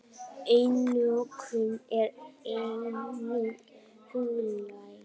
Einokun er einnig huglæg.